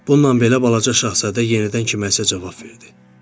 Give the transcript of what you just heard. Bununla belə Balaca Şahzadə yenidən kiməsə cavab verdi.